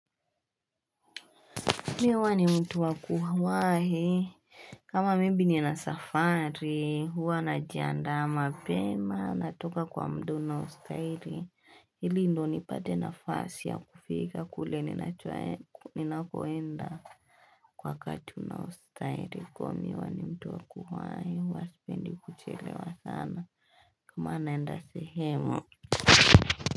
Mihuwa ni mtu wa kuhuahi, kama maybe ni na safari, huwa na jiandaa ma pema, natoka kwa mda unaostairi, ili ndo ni pate na fasi ya kufika kule ni nakoenda kwa wakati unaostairi, kwa mihuwa ni mtu wa kuhuahi, huwa spendi kuchelewa sana, kama naenda sehemu.